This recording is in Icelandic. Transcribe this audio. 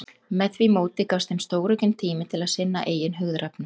Með því móti gafst þeim stóraukinn tími til að sinna eigin hugðarefnum.